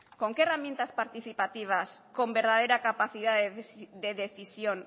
con qué herramientas participativas con verdadera capacidad de decisión